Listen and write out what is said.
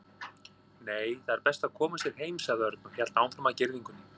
Nei, það er best að koma sér heim sagði Örn og hélt áfram að girðingunni.